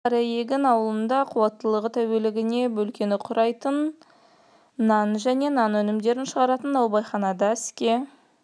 осы күні қараегін ауылында қуаттылығы тәулігіне бөлкені құрайтын нан және нан өнімдерін шығаратын наубайхана да іске